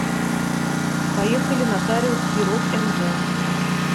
поехали нотариус перов мв